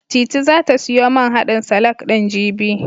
Titi zata siyo man haɗin salak ɗin, jibi.